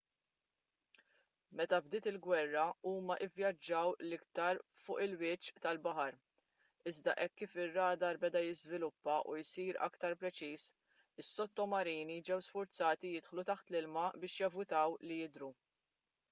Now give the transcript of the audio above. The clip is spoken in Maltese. meta bdiet il-gwerra huma vvjaġġaw l-aktar fuq il-wiċċ tal-baħar iżda hekk kif ir-radar beda jiżviluppa u jsir aktar preċiż is-sottomarini ġew sfurzati jidħlu taħt l-ilma biex jevitaw li jidhru